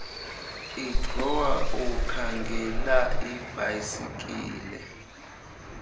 idrowa ukhangela ibhayisikile